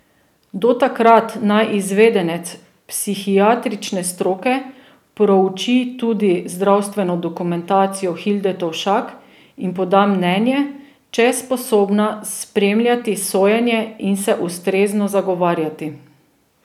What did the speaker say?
Do takrat naj izvedenec psihiatrične stroke prouči tudi zdravstveno dokumentacijo Hilde Tovšak in poda mnenje, če je sposobna spremljati sojenje in se ustrezno zagovarjati.